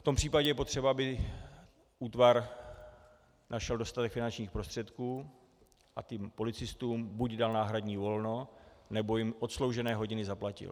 V tom případě je potřeba, aby útvar našel dostatek finančních prostředků a těm policistům buď dal náhradní volno, nebo jim odsloužené hodiny zaplatil.